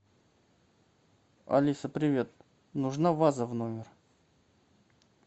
алиса привет нужна ваза в номер